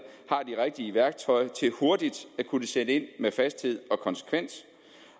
har det rigtige værktøj til hurtigt at kunne sætte ind med fasthed og konsekvens